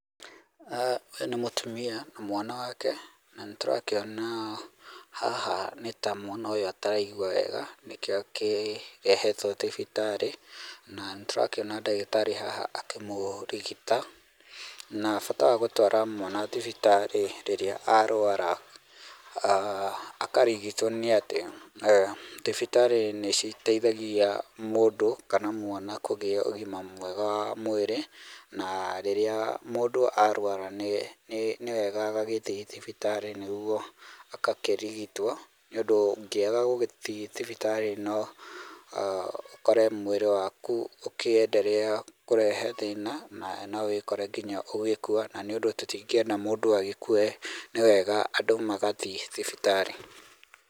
Ũyũ nĩ mũtumia na mwana wake, na nĩ tũrakĩona haha nĩ ta mwana ũyũ ataraigua wega nĩkĩo akĩrehetwo thibitarĩ, na nĩ tũrakĩona ndagĩtarĩ haha akĩmũrigita. Na bata wa gũtwara mwana thibitarĩ rĩrĩa arũara akarigitwo nĩ atĩ, thibitarĩ nĩ citeithagia mũndũ kana mwana kũgĩa ũgima mwega wa mwĩrĩ. Na rĩrĩa mũndũ arũara nĩ wega agagĩthiĩ thibitarĩ nĩguo agakĩrigitwo nĩ undũ ũngĩaga gũgĩthiĩ thibitarĩ no ũkore mwĩrĩ waku ũkĩendelea kũrehe thĩna na no wĩkore nginya ũgĩkua na nĩ ũndũ tũtingĩenda mũndũ agĩkue nĩ wega andũ magathiĩ thibitarĩ.